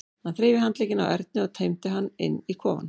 Hann þreif í handlegginn á Erni og teymdi hann inn í kofann.